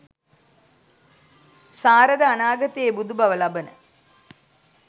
සාරද අනාගතයේ බුදුබව ලබන